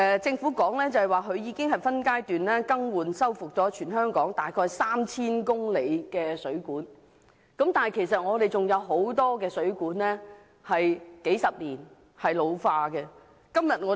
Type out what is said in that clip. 政府表示已分階段更換和修復全港約 3,000 公里水管，但其實仍有很多水管已使用了數十年，開始出現老化。